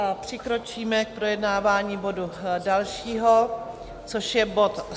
A přikročíme k projednávání bodu dalšího, což je bod